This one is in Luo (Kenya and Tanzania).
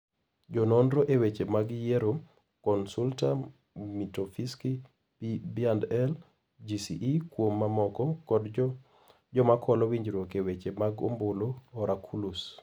Jononro e weche mag yiero (Consulta mitofisky B&L GCE kuom mamoko) kod jomakolo winjruok eweche mag obulu oraculus.